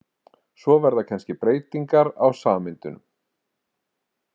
Svo verða kannski breytingar á sameindunum.